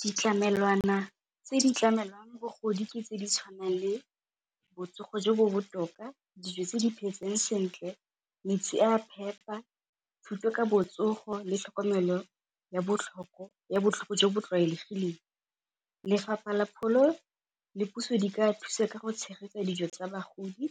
Ditlamelwana tse di tlamelang bagodi ke tse ditshwanang le botsogo jo bo botoka, dijo tse di phetseng sentle, metsi a phepa, thuto ka botsogo le tlhokomelo ya botlhoko jo bo tlwaelegileng. Lefapha la pholo le puso di ka thusa ka go tshegetsa tsa bagodi